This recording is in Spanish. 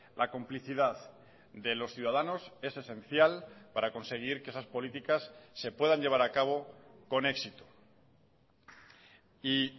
la complicidad de los ciudadanos es esencial para conseguir que esas políticas se puedan llevar a cabo con éxito y